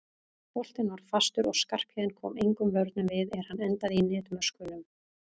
Boltinn var fastur og Skarphéðinn kom engum vörnum við er hann endaði í netmöskvunum.